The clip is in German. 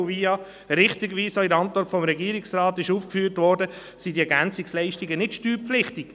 Wie richtigerweise in der Antwort des Regierungsrates ausgeführt wurde, sind diese EL nicht steuerpflichtig.